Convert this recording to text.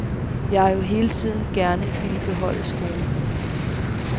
Jeg har jo hele tiden gerne villet beholde skolen.